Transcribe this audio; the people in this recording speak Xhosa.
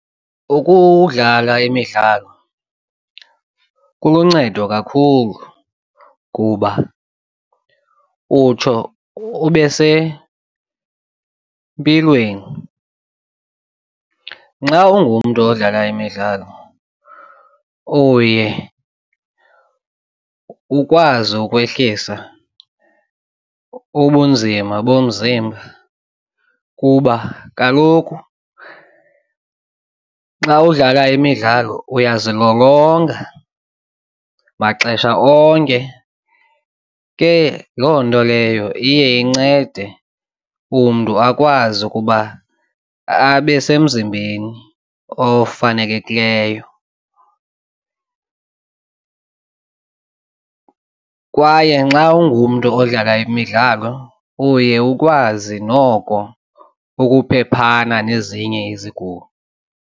Ukudlala imidlalo kuluncedo kakhulu kuba utsho ube sempilweni. Nxa ungumntu odlala imidlalo uye ukwazi ukwehlisa ubunzima bomzimba kuba kaloku xa udlala imidlalo uyazilolonga maxesha onke. Ke loo nto leyo iye incede umntu akwazi ukuba abe semzibeni ofanelekileyo kwaye nxa ungumntu odlala imidlalo uye ukwazi noko ukhuphephana nezinye izigulo.